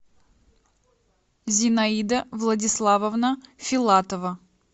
зинаида владиславовна филатова